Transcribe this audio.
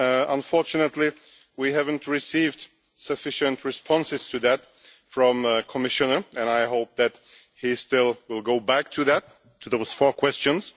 Unfortunately, we haven't received sufficient responses to them from the Commissioner and I hope that he will still go back to those four questions.